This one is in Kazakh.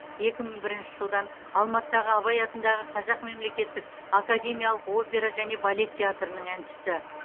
екі мың бірінші жылдан алматыдағы абай атындағы қазақ мемлекеттік академиялық опера және балет театрының әншісі